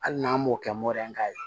Hali n'an m'o kɛ ka ye